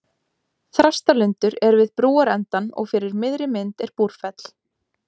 Þrastalundur er við brúarendann og fyrir miðri mynd er Búrfell.